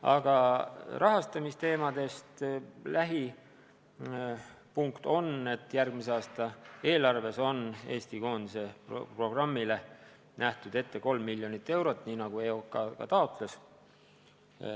Aga rahastamisteemade lähim punkt on, et järgmise aasta eelarves on Eesti koondise programmile nähtud ette 3 miljonit eurot, nii nagu EOK ka taotles.